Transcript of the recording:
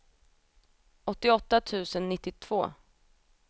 åttioåtta tusen nittiotvå